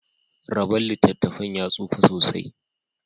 raban littattafan ya tsufa sosai.